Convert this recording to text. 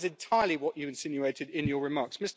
That is entirely what you insinuated in your remarks.